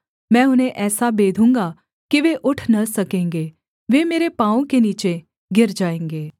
मैं उन्हें ऐसा बेधूँगा कि वे उठ न सकेंगे वे मेरे पाँवों के नीचे गिर जायेंगे